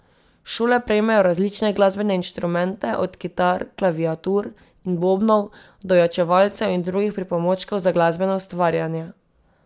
Šole prejmejo različne glasbene inštrumente, od kitar, klaviatur in bobnov do ojačevalcev in drugih pripomočkov za glasbeno ustvarjanje.